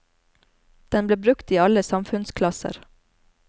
Den ble brukt i alle samfunnsklasser.